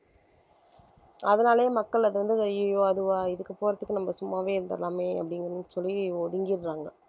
அதனாலேயே மக்கள் அது வந்து அய்யய்யோ அதுவா இதுக்கு போறதுக்கு நம்ம சும்மாவே இருந்திடலாமே அப்படின்னு சொல்லி ஒதுங்கிடறாங்க